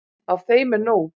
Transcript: Af þeim er nóg.